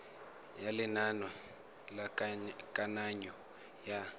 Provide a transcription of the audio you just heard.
ya lenane la kananyo ya